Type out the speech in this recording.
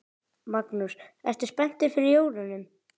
Magnús: Ertu spenntur fyrir jólunum?